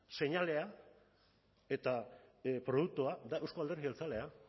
seinalea eta produktua da euzko alderdi jeltzalea